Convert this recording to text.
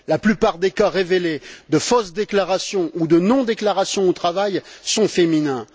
La plupart des cas révélés de fausses déclarations ou de non déclaration du travail sont féminins.